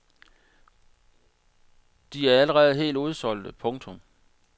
De er allerede helt udsolgte. punktum